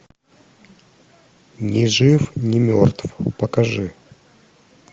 ни жив ни мертв покажи